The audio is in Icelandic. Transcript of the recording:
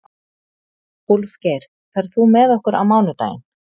Úlfgeir, ferð þú með okkur á mánudaginn?